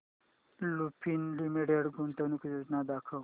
Lupin limited गुंतवणूक योजना दाखव